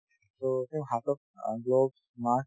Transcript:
so তেওঁ হাতত অ gloves mask